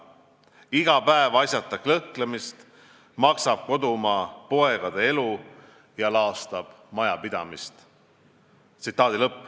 Iga päev asjata kõhklemist maksab kodumaa poegade elu ja laastab majapidamisi.